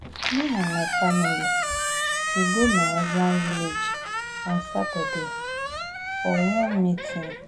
Me and my family dey go my husband village on Saturday for one meeting